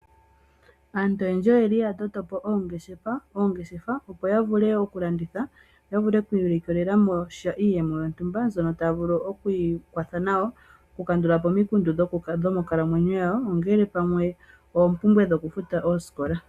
Aantu oyendji oya totopo ongeshefa opo ya vule oku landitha. Yo ya vule oku ilikolela mo sha iiyemo yo ntumba mbyono tayi vulu oku ikwatha nayo . Oku kandulapo po omikundu dhimonkalamwenyo. Ngaashi oompumbwe dhoku futa oosikola.